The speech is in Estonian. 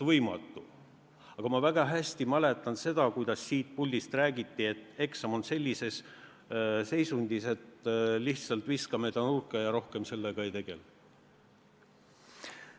Aga ma väga hästi mäletan, kuidas siit puldist räägiti, et eelnõu on sellises seisundis, et lihtsalt viskame ta nurka ja rohkem sellega ei tegele.